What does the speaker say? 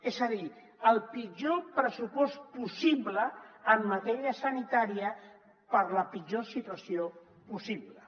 és a dir el pitjor pressupost possible en matèria sanitària per a la pitjor situació possible